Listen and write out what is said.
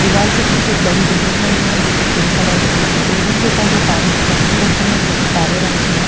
दीवाल के पीछे एक बड़ी बिल्डिंग बनी है जोकि पिंक कलर की है बिल्डिंग के ऊपर दो पानी की टंकी रखी है जो कि काले रंग की है।